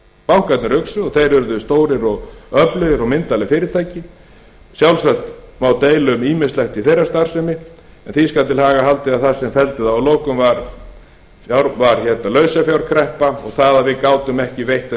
bankarnir uxu og þeir urðu stórir og öflugir og myndarleg fyrirtæki sjálfsagt má deila um ýmislegt í þeirra starfsemi en því skal til haga haldið að það sem felldi þá að lokum var lausafjárkreppa og það að við gátum ekki veitt þeim